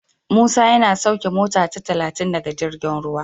Musa yana sauke mota ta talatin daga jirgin ruwa.